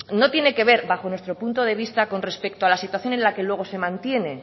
no tiene que ver bajo nuestro punto de vista con respecto a la situación en la que luego se mantiene